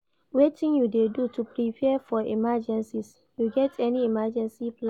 Wetin you dey do to prepare for emergencies, you get any emergency plans?